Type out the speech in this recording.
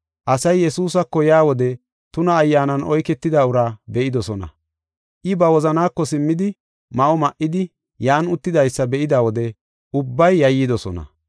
Asay Yesuusako yaa wode tuna ayyaanan oyketida uraa be7idosona. I ba wozanaako simmidi, ma7o ma7idi, yan uttidaysa be7ida wode ubbay yayyidosona.